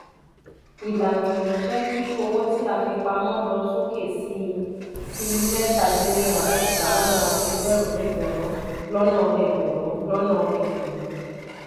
ìlànà yí jé kí owó tí a fi pamọ́ lọ sókè sí sí mẹta din ní àádọ́ta lọ́nà egberun lọ́nà egberun lọ́nà egberun.